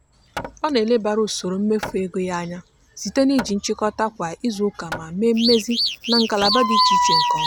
ọ na-elebara usoro mmefu ego ya anya site n'iji nchịkọta kwa izuụka ma mee mmezi na ngalaba dị iche iche nke ọma.